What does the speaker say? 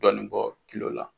Dɔɔni bɔ la.